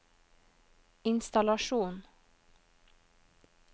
innstallasjon